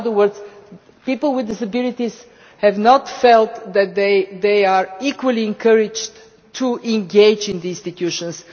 In other words, people with disabilities do not feel that they are equally encouraged to engage in the institutions.